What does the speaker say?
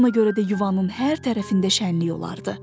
Ona görə də yuvanın hər tərəfində şənlik olardı.